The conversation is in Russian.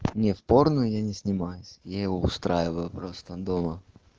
не в порно я не снимаюсь я его устраиваю просто дома